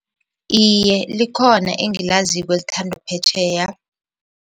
Iye, likhona engilaziko elithandwa phetjheya.